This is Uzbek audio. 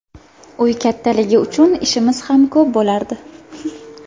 Uy kattaligi uchun ishimiz ham ko‘p bo‘lardi.